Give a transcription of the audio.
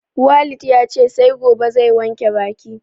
Walid yace sai gobe zai wanke baki